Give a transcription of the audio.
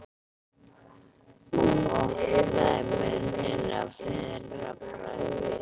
Og opnaði munninn að fyrra bragði.